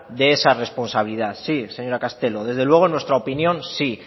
de esa responsabilidad sí señora castelo desde luego en nuestra opinión sí